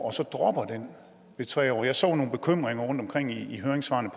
og så dropper den ved tre år jeg så nogle bekymringer rundtomkring i høringssvarene